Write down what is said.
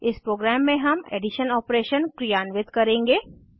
इस प्रोग्राम में हम एडिशन ऑपरेशन क्रियान्वित करेंगे